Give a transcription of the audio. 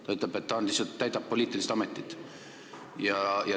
Ta ütleb, et ta täidab lihtsalt poliitilist ametit.